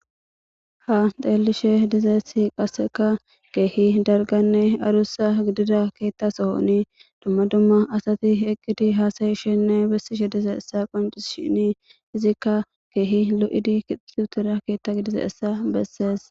ha xelishe dizayemssi qaseka keehi dalganne adussa gidida keetta sohoni dumma dumma asati eqqidi haasayishenne bessishe dizayissa qoncishini izikka keehi lo'idi kitutira keetta gidizayissa bessees.